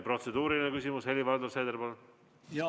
Protseduuriline küsimus, Helir-Valdor Seeder, palun!